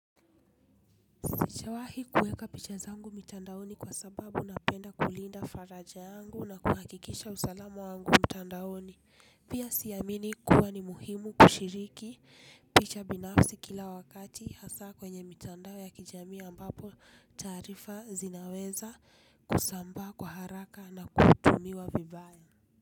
Sishawahi kuweka picha zangu mitandaoni kwa sababu napenda kulinda faraja yangu na kuhakikisha usalamu wangu mtandaoni. Pia siamini kuwa ni muhimu kushiriki picha binafsi kila wakati hasa kwenye mitandao ya kijamii ambapo taarifa zinaweza, kusambaa kwa haraka na kutumiwa vibaya.